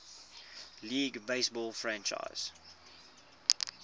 league baseball franchise